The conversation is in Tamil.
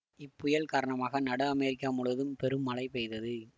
இப்புயல் காரணமாக நடு அமெரிக்கா முழுவதும் பெரும் மழை பெய்தது